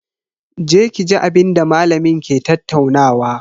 Je ki ji abinda malamin ke tattaunawa.